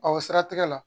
siratigɛ la